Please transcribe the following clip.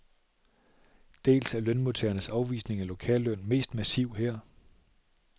Dels er lønmodtagernes afvisning af lokalløn mest massiv her.